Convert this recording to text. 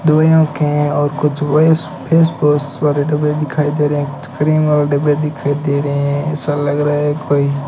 दुयो के और कुछ वेश फेसवॉश वारे डब्बे दिखाई दे रे है एक क्रीम वाले डिब्बे दिखाई दे रहे है ऐसा लग रहा है कोई --